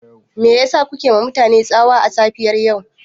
Me yasa kuke yiwa mutane tsawa a safiyar yau?